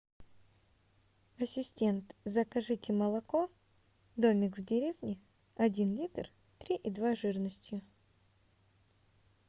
ассистент закажите молоко домик в деревне один литр три и два жирностью